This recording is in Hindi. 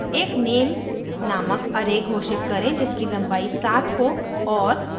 एक names नामक array घोषित करें जिसकी लम्बाई 7 हो और